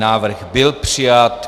Návrh byl přijat.